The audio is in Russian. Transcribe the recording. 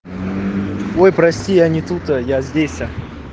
ой прости я не тут я здесь